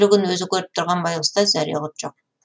өз өлігін өзі көріп тұрған байғұста зәре құт жоқ